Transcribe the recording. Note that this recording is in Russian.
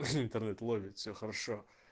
ха интернет ловит все хорошо